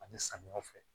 Ani samiyɛ fɛ